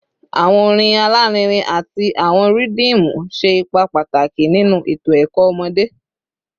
Awọn orin alarinrin ati awọn rhythmu ṣe ipa pataki ninu eto ẹkọ ọmọde